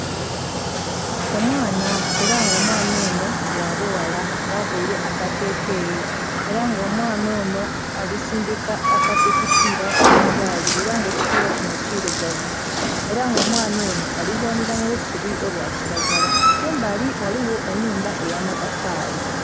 Omwaana era nga omwaana onho gha bughala nga avaire akateteyi era nga omwaana onho ali sindhika ekipiila kya gaali, era nga ekipiila kinho kirugavu era nga omwaana onho ali zaanhila mu busubi obwa kilagala, kumbali ghaligho enhumba eya matafali.